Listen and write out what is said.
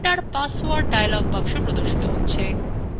enter password dialog boxএ প্রর্দশিত হবে